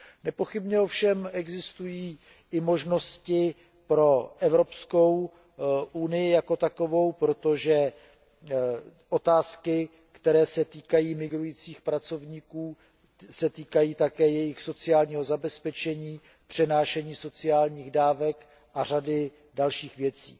Nepochybně ovšem existují i možnosti pro Evropskou unii jako takovou, protože otázky, které se týkají migrujících pracovníků, se týkají také jejich sociálního zabezpečení, přenášení sociálních dávek a řady dalších věcí.